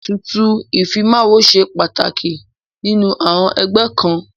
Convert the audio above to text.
Ètùtù ìfimáwo ṣe pàtàkì nínú àọn ẹgbẹ́ kan..